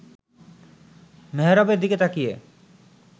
মেহরাবের দিকে তাকিয়ে